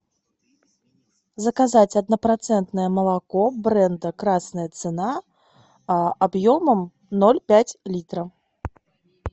заказать однопроцентное молоко бренда красная цена объемом ноль пять литра